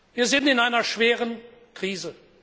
Wir sind in einer schweren Krise.